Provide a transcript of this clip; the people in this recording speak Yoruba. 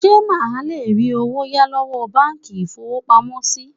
Ṣé máa lè rí owó yá lọ́wọ́ báńkì ìfowópamọ́ sí?